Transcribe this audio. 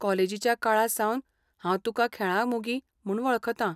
कॉलेजीच्या काळा सावन हांव तुकां खेळां मोगी म्हणून वळखतां.